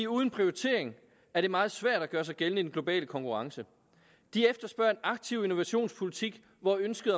uden prioritering er det meget svært at gøre sig gældende i den globale konkurrence de efterspørger en aktiv innovationspolitik hvor ønsket